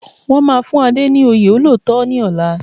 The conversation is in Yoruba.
Wọ́n máa fún Ade ní oyè olóòótọ́ ní ọ̀la